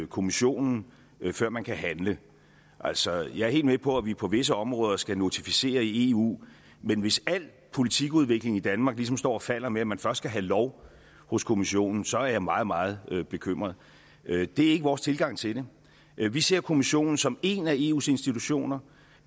kommissionen før man kan handle altså jeg er helt med på at vi på visse områder skal notificere i eu men hvis al politikudvikling i danmark ligesom står og falder med at man først skal have lov hos kommissionen så er jeg meget meget bekymret det er ikke vores tilgang til det vi ser kommissionen som én af eus institutioner